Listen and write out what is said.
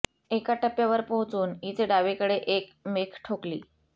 एका टप्प्यावर पोहोचून इथे डावीकडे एक मेख ठोकली